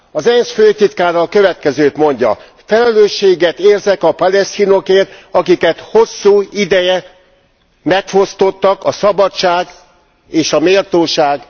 Az ENSZ főtitkára a következőt mondja felelősséget érzek a palesztinokért, akiket hosszú ideje megfosztottak a szabadság és a méltóság